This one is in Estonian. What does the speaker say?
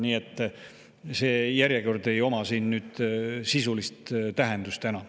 Nii et see järjekord ei oma siin sisulist tähendust täna.